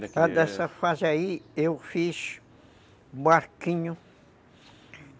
Dessa fase aí, eu fiz barquinho.